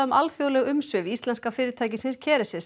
alþjóðleg umsvif íslenska fyrirtækisins